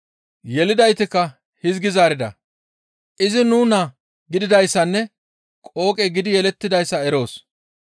Yelidaytikka hizgi zaarida, «Izi nu naa gididayssanne qooqe gidi yelettidayssa eroos.